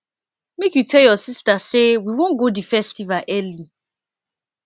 make you tell your sista say we wan go di festival early